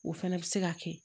O fɛnɛ bɛ se ka kɛ